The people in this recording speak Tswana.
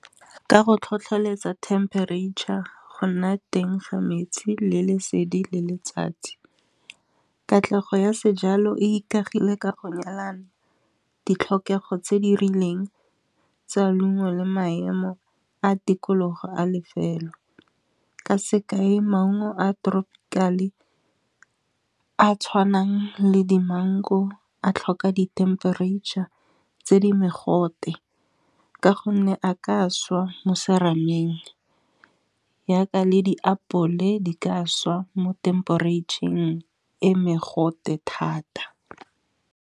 Ka go tlhotlheletsa temperature, go nna teng ga metsi le lesedi le letsatsi. Katlego ya sejalo e ikagile ka go nyalana ditlhokego tse di rileng tsa leungo, le maemo a tikologo a lefelo. Ka sekae maungo a tropical-e a tshwanang le di-mango a tlhoka dithempereitšha tse di mogote, ka gonne a ka swa mo serameng. Jaaka le diapole di ka swa mo thempereitšheng e mogote thata.